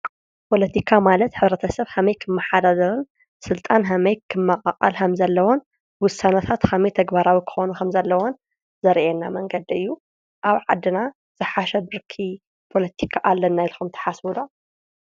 ፖለትካ ማለት ሕ/ሰብ ከመይ ክማሓደር ስልጣን ከመይ ክማቃቀል ከም ዘለዎም ውሳኔታት ከመይ ተግባራዊ ኩኩኑ ከም ዘለዎን ዘርኢና መንገዲ እዩ ።ኣብ ዓዲና ዝሓሸ ብርኪ ፖለትካ ኣለና ኢልኩም ተሓስቡ ዶ?